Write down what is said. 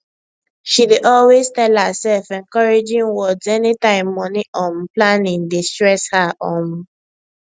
she dey always tell herself encouraging words anytime money um planning dey stress her um